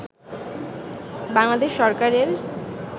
বাংলাদেশ সরকারের